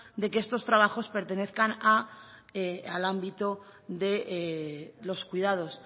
de que estos trabajos pertenezcan al ámbito de los cuidados